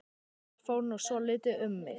Það fór nú svolítið um mig.